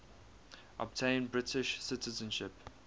obtain british citizenship